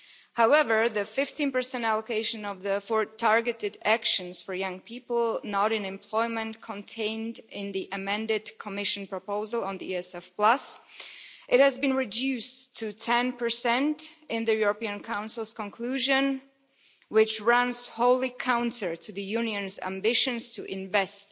However, the 15 allocation of the four targeted actions for young people not in employment contained in the amended Commission proposal on the European Social Fund Plus has been reduced to 10 in the European Council's conclusion, which runs wholly counter to the Union's ambitions to invest